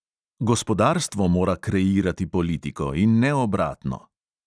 Gospodarstvo mora kreirati politiko in ne obratno!